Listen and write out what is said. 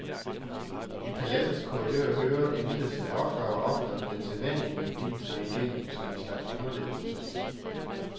I paladsets korridorer høres imidlertid oftere og oftere den sædvanlige melodi trænge igennem som en slags underlægningsmusik.